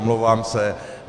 Omlouvám se.